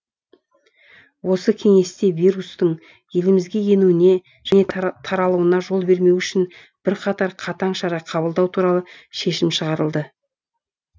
осы кеңесте вирустың елімізге енуіне және таралуына жол бермеу үшін бірқатар қатаң шара қабылдау туралы шешім шығарылды